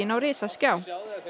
á risaskjá